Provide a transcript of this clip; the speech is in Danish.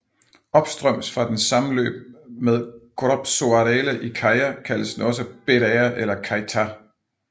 Opstrøms fra dens sammenløb med Gropșoarele i Cheia kaldes den også Berea eller Cheița